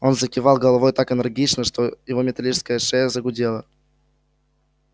он закивал головой так энергично что его металлическая шея загудела